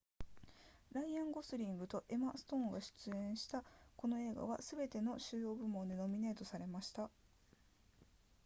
ライアンゴズリングとエマストーンが出演したこの映画はすべての主要部門でノミネートされました